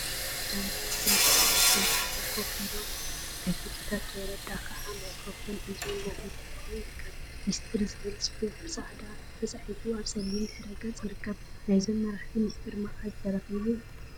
ናይ ትግራይ መራሕቲን አመሓደርቲን ብሓደ ኮፍ ኢሎም አቶ ጌታቸው ረዳ ከዓ ማይክሮፎን ሒዙ እናተዛረበ ይርከብ፡፡ ሚስጥር ዝብል ፅሑፈ ብፃዕዳ ተፃሒፉ አብ ፀሊም ድሕረ ገፅ ይርከብ? ናይዞም መራሕቲ ሚስጢር መዓዝ ተረኪቡ?